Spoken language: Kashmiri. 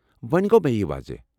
وۄنہِ گوٚو مےٚ یہ واضح۔